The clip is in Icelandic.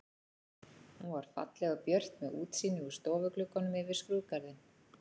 Hún var falleg og björt með útsýni úr stofugluggunum yfir skrúðgarðinn.